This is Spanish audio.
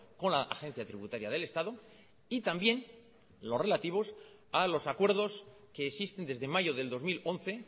con la agencia tributaria del estado y también los relativos a los acuerdos que existen desde mayo del dos mil once